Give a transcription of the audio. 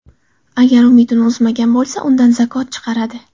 Agar umidini uzmagan bo‘lsa, undan zakot chiqaradi.